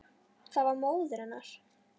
Það var móðir hennar.